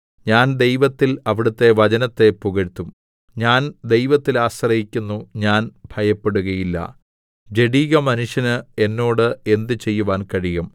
ഞാൻ ദൈവത്തിൽ അവിടുത്തെ വചനത്തെ പുകഴ്ത്തും ഞാൻ ദൈവത്തിൽ ആശ്രയിക്കുന്നു ഞാൻ ഭയപ്പെടുകയില്ല ജഡികമനുഷ്യന് എന്നോട് എന്ത് ചെയ്യുവാൻ കഴിയും